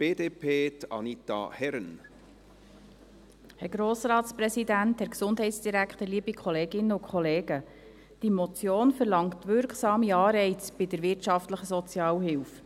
Diese Motion verlangt wirksame Anreize bei der wirtschaftlichen Sozialhilfe.